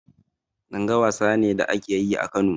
Langa wasa ne da ake yi a Kano.